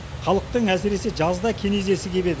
халықтың әсіресе жазда кенезесі кебеді